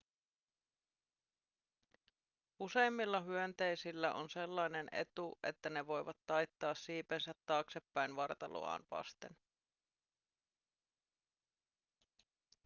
useimmilla hyönteisillä on sellainen etu että ne voivat taittaa siipensä taaksepäin vartaloaan vasten